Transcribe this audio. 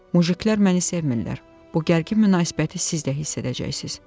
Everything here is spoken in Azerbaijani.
Mujiklər məni sevmirilər, bu gərgin münasibəti siz də hiss edəcəksiz.